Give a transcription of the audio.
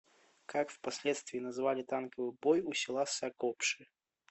как впоследствии назвали танковый бой у села сагопши